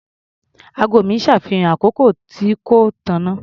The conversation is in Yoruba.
Ago mi ṣàfihàn àkókò tí kò tànnà.